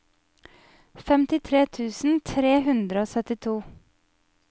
femtitre tusen tre hundre og syttito